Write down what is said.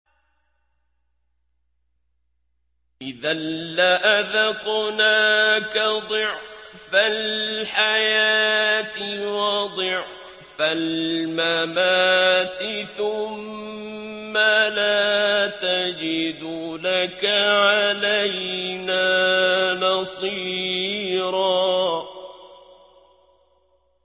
إِذًا لَّأَذَقْنَاكَ ضِعْفَ الْحَيَاةِ وَضِعْفَ الْمَمَاتِ ثُمَّ لَا تَجِدُ لَكَ عَلَيْنَا نَصِيرًا